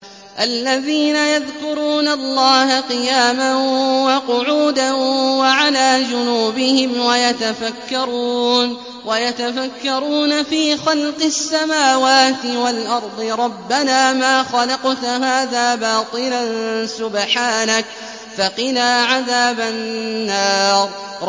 الَّذِينَ يَذْكُرُونَ اللَّهَ قِيَامًا وَقُعُودًا وَعَلَىٰ جُنُوبِهِمْ وَيَتَفَكَّرُونَ فِي خَلْقِ السَّمَاوَاتِ وَالْأَرْضِ رَبَّنَا مَا خَلَقْتَ هَٰذَا بَاطِلًا سُبْحَانَكَ فَقِنَا عَذَابَ النَّارِ